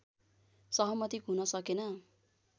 सहमति हुन सकेन